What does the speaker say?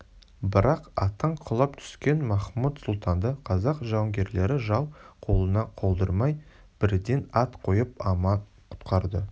бірақ аттан құлап түскен махмұт сұлтанды қазақ жауынгерлері жау қолына қалдырмай бірден ат қойып аман құтқарды